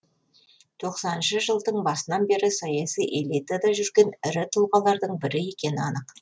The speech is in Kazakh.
тоқсаныншы жылдың басынан бері саяси элитада жүрген ірі тұлғалардың бірі екені анық